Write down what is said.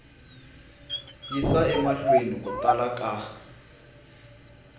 yisa emahlweni ku tala ka